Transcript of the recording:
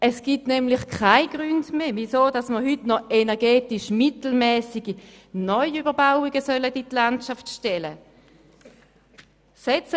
Es gibt nämlich keine Gründe mehr, weshalb man heute noch energetisch mittelmässige Neuüberbauungen in die Landschaft stellen sollte.